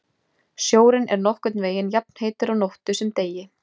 Sjórinn er nokkurn veginn jafnheitur á nóttu sem degi.